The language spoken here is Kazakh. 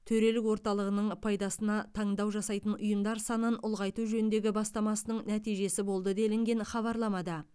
төрелік орталығының пайдасына таңдау жасайтын ұйымдар санын ұлғайту жөніндегі бастамасының нәтижесі болды делінген хабарламада